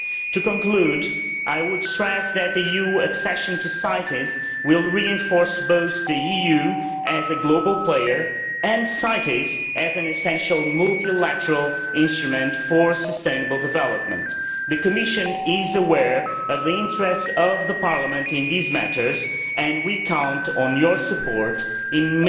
To conclude, I would stress that the EU's accession to CITES will reinforce both the EU as a global player and CITES as an essential multilateral instrument for sustainable development. The Commission is aware of the interest of Parliament in these matters, and we count on your support